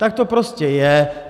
Tak to prostě je.